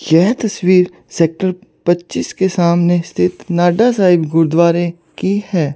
यह तस्वीर सेक्टर पच्चीस के सामने स्थित नाडा साहिब गुरुद्वारे की है।